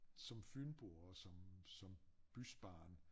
Som fynbo og som som bysbarn